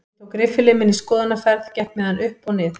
Ég tók riffilinn minn í skoðunarferð, gekk með hann upp og nið